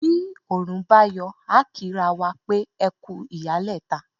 Bi Òòrùn bá yọ, a kí ra wa pé " ẹkú ìyálẹ̀ta"